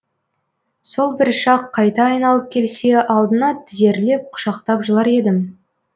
сол бір шақ қайта айналып келсе алдына тізерлеп құшақтап жылар едім